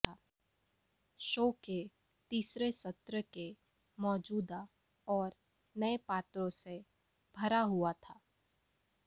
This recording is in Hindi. शो के तीसरे सत्र के मौजूदा और नए पात्रों से भरा हुआ था